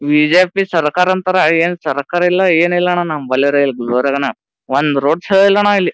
BJP ಸರಕಾರ ಅಂತರ ಏನಿ ಸರ್ಕಾರ ಇಲ್ಲ ಎನ್‌ ಇಲ್ಲ ಅಣ್ಣಾ ನಂಬಲ್ರೆ ಇಲ್ಲಿ ಗುಲರ್ಬಾನಾಗ ಒಂದ್ ರೋಡ್ ಸರಿಯಾಗಿಲ್ಲ ಅಣ್ಣ ಇಲ್ಲಿ .